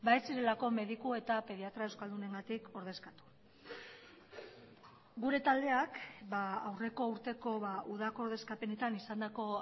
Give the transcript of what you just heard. ez zirelako mediku eta pediatra euskaldunengatik ordezkatu gure taldeak aurreko urteko udako ordezkapenetan izandako